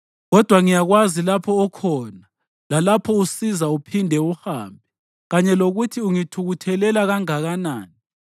Kodwa ngiyakwazi lapho okhona, lalapho usiza uphinde uhambe; kanye lokuthi ungithukuthelela kangakanani.